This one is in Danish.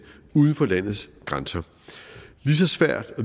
uden for landets grænser lige så svært og